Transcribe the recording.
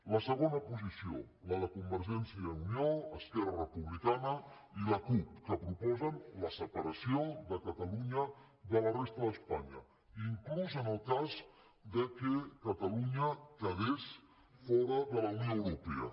la segona posició la de convergència i unió esquerra republicana i la cup que proposen la separació de catalunya de la resta d’espanya inclús en el cas que catalunya quedés fora de la unió europea